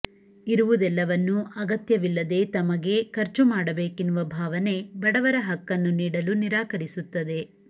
ಇರುವುದೆಲ್ಲವನ್ನೂ ಅಗತ್ಯವಿಲ್ಲದೆ ತಮಗೆ ಖರ್ಚು ಮಾಡಬೇಕೆನ್ನುವ ಭಾವನೆ ಬಡವರ ಹಕ್ಕನ್ನು ನೀಡಲು ನಿರಾಕರಿಸುತ್ತದೆ